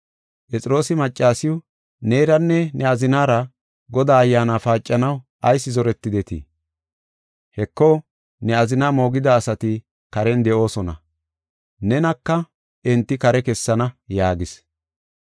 Phexroosi maccasiw, “Neeranne ne azinara Godaa Ayyaana paacanaw ayis zoretidetii? Heko, ne azina moogida asati karen de7oosona; nenaka enti kare kessana” yaagis.